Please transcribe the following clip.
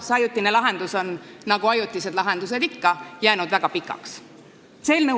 See ajutine lahendus on nagu ajutised lahendused ikka väga pikaks ajaks jäänud.